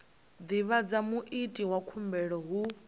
divhadza muiti wa khumbelo hu